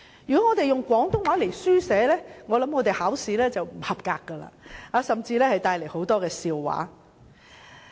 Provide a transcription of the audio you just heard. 如果以廣東話書寫，考試便會不合格，甚至惹起很多笑話。